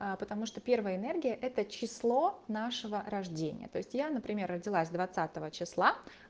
а потому что первая энергия это число нашего рождения то есть я например родилась двадцатого числа